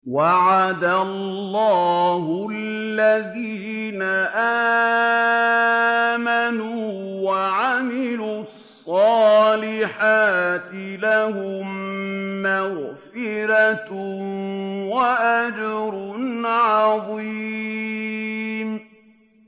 وَعَدَ اللَّهُ الَّذِينَ آمَنُوا وَعَمِلُوا الصَّالِحَاتِ ۙ لَهُم مَّغْفِرَةٌ وَأَجْرٌ عَظِيمٌ